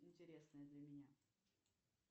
интересное для меня